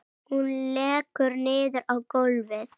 Hún lekur niður á gólfið.